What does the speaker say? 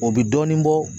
O bɛ dɔɔnin bɔ